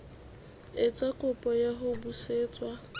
etsa kopo ya ho busetswa